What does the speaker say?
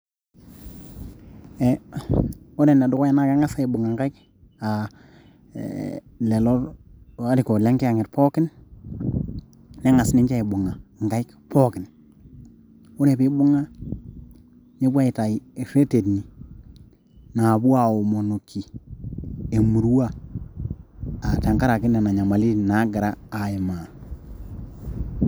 Ee ore ene dukuya naa Kang'as aibung'a inkaik aa ee lelo airukok lenkiyang'et pookin, neng'as ninche aibung'a Inkaik pookin, ore pee ebung'a nepuo aitau irreteni naapuo aaomonoki emurua aa tengaraki nena nyamalitin naagira aimaa.